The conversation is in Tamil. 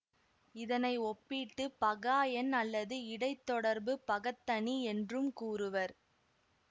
இதனை ஒப்பீட்டு பகா எண் அல்லது இடைத்தொடர்புப் பகத்தனி என்றும் கூறுவர்